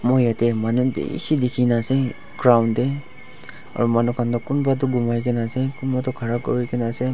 mur jatte manu bisi dekhi kina ase ground te aru manu khan kunba gumai kina ase Kunba tu khara kori kina ase.